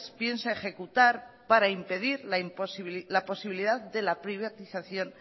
piensa ejecutar para impedir la posibilidad de la privatización